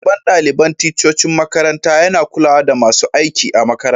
Shugaban dalibain ticcocin makaranta ya na kulawa da masun aiki a'makarantan.